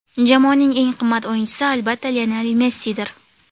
Jamoaning eng qimmat o‘yinchisi, albatta, Lionel Messidir.